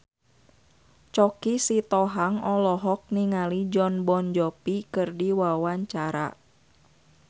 Choky Sitohang olohok ningali Jon Bon Jovi keur diwawancara